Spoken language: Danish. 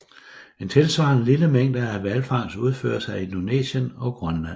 En tilsvarende lille mængde af hvalfangst udføres af Indonesien og Grønland